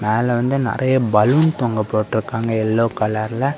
மேல வந்து நறைய பலூன் தொங்க போட்ருக்காங்க எல்லோ கலர் .